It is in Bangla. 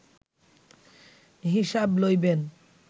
হিসাব লইবেন